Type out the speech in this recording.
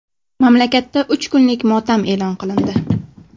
Mamlakatda uch kunlik motam e’lon qilindi.